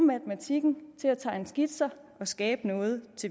matematikken til at tegne skitser og skabe noget